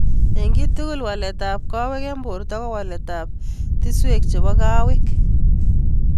Ing tugul: Walet ap kawek ing porto ko wale tiswek chepo kawet.